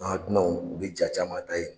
u bɛ jaa caman ta ye.